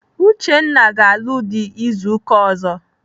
Uchenna ga-alụ dị izu ụka ọzọ.